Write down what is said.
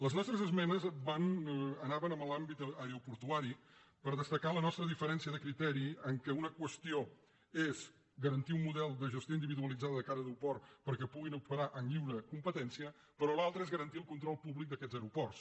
les nostres esmenes anaven en l’àmbit aeroportuari per destacar la nostra diferència de criteri en el fet que una qüestió és garantir un model de gestió individualitzada de cada aeroport perquè puguin operar en lliure competència però l’altre és garantir el control públic d’aquests aeroports